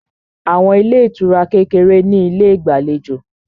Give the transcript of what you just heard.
Àwọn ilé ìtura kékeré ní ilé ìgbàlejò